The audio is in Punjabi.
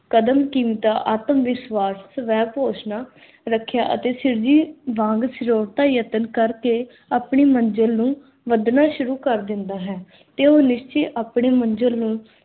ਕਦਮ-ਕੀਮਤਾਂ, ਆਤਮ-ਵਿਸ਼ਵਾਸ, ਸਵੈ-ਘੋਸ਼ਣਾ, ਰੱਖਿਆ ਅਤੇ ਸਿਰਜੀ ਵਾਂਗ ਯਤਨ ਕਰਕੇ ਆਪਣੀ ਮੰਜਿਲ ਨੂੰ ਵਧਣਾ ਸ਼ੁਰੂ ਕਰ ਦਿੰਦਾ ਹੈ, ਤੇ ਉਹ ਨਿਸ਼ਚੇ ਆਪਣੀ ਮੰਜਿਲ ਨੂੰ